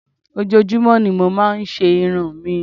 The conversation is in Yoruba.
Ojoojúmọ́ ni mo máa ń se irun mi